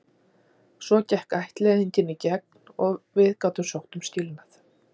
Svo gekk ættleiðingin í gegn og við gátum sótt um skilnað.